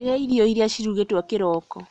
Rĩa irio iria cirugĩtwo kĩroko